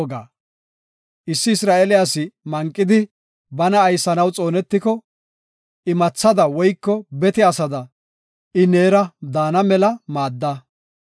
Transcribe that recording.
Issi Isra7eele asi manqidi bana aysanaw xoonetiko, imathada woyko bete asada I neera daana mela maadda.